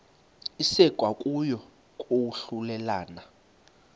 isekwa kokuya kwahlulelana